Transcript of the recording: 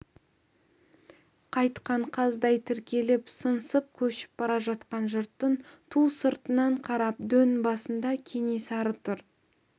қайтқан қаздай тіркеліп сыңсып көшіп бара жатқан жұрттың ту сыртынан қарап дөң басында кенесары тұр